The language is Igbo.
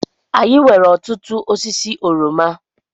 Anyị nwere ọtụtụ osisi oroma.